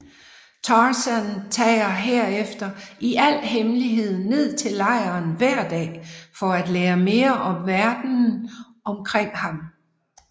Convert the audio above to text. Tarzan tager herefter i al hemmelighed ned til lejren hver dag for at lære mere om verdenen omkring ham